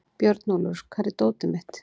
Björnólfur, hvar er dótið mitt?